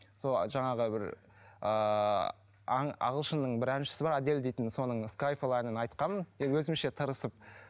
сол жаңағы бір ааа ағылшынның бір әншісі бар адель дейтін соның скайфол әнін айтқанмын енді өзімше тырысып